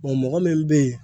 mɔgɔ min bɛ yen